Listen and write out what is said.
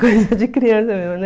coisa de criança mesmo, né?